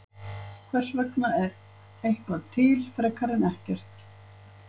Hvers vegna er eitthvað til frekar en ekkert?